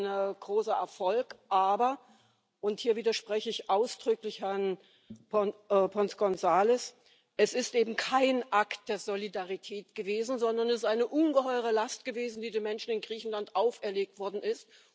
Das ist sein großer Erfolg, aber und hier widerspreche ich ausdrücklich Herrn González Pons es ist eben kein Akt der Solidarität gewesen, sondern es ist eine ungeheure Last gewesen, die den Menschen in Griechenland auferlegt worden ist.